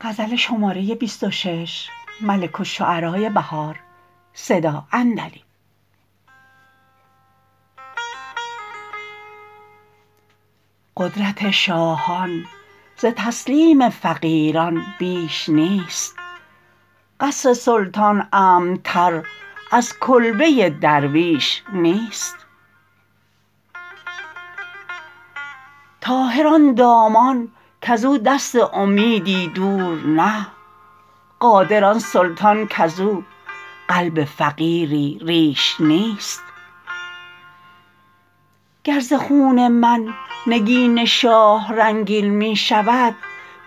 قدرت شاهان ز تسلیم فقیران بیش نیست قصر سلطان امن تر ازکلبه درویش نیست طاهر آن دامان کزو دست امیدی دور نه قادر آن سلطان کزو قلب فقیری ریش نیست گر ز خون من نگین شاه رنگین می شود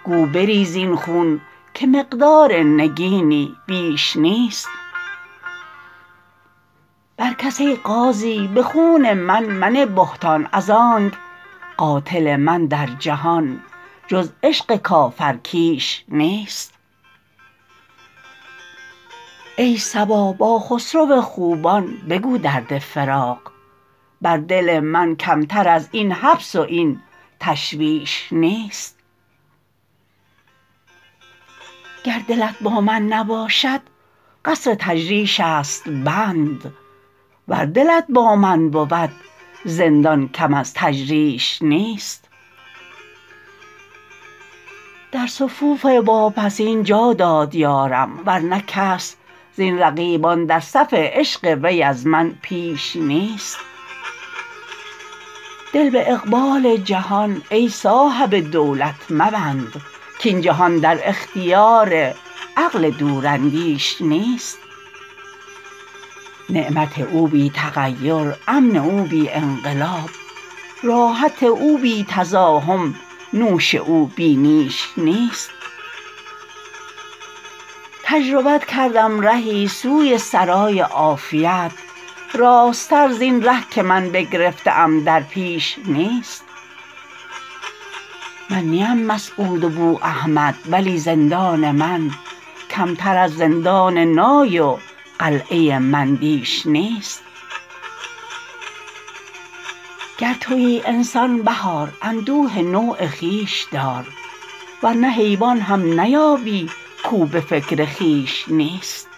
گو بریز این خون که مقدار نگینی بیش نیست برکس ای قاضی به خون من منه بهتان ازآنک قاتل من در جهان جز عشق کافرکیش نیست ای صبا با خسرو خوبان بگو درد فراق بر دل من کمتر از این حبس و این تشویش نیست گر دلت با من نباشد قصرتجریش است بند ور دلت با من بود زندان کم از تجریش نیست در صفوف واپسین جا داد یارم ورنه کس زین رقیبان درصف عشق وی ازمن پیش نیست دل به اقبال جهان ای صاحب دولت مبند کاین جهان در اختیار عقل دوراندیش نیست نعمت او بی تغیر امن او بی انقلاب راحت او بی تزاحم نوش او بی نیش نیست تجربت کردم رهی سوی سرای عافیت راست تر زین ره که من بگرفته ام در پیش نیست من نی ام مسعود و بواحمد ولی زندان من کمتر از زندان نای و قلعه مندیش نیست گر تویی انسان بهار اندوه نوع خویش دار ورنه حیوان هم نیابی کاو به فکر خویش نیست